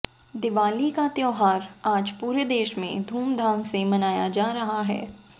दिवाली का त्यौहार आज पूरे देश में धूमधाम से मनाया जा रहा है